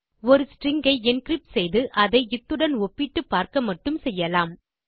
ஒரு ஸ்ட்ரிங் ஐ என்கிரிப்ட் செய்து அதை இத்துடன் ஒப்பிட்டு பார்க்க மட்டுமே செய்யலாம்